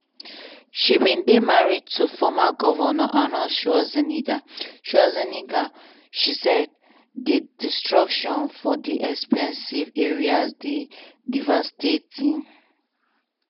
she bin dey married to former govnor arnold schwarzenegger schwarzenegger she say di destruction for di very expensive area dey devastating.